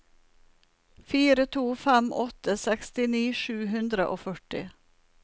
fire to fem åtte sekstini sju hundre og førti